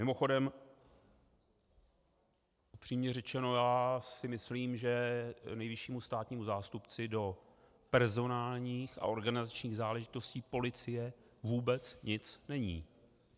Mimochodem, upřímně řečeno, já si myslím, že nejvyššímu státnímu zástupci do personálních a organizačních záležitostí policie vůbec nic není.